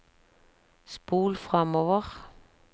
spol framover